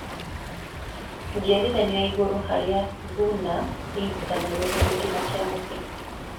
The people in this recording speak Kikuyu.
Njiarithanio ya igũrũ harĩa thuna inyitithanagio na gĩtina kia mũtĩ